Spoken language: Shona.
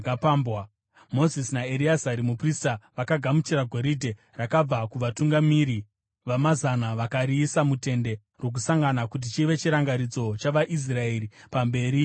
Mozisi naEreazari muprista vakagamuchira goridhe rakabva kuvatungamiri vezviuru nokuvatungamiri vamazana vakariisa muTende Rokusangana kuti chive chirangaridzo chavaIsraeri pamberi paJehovha.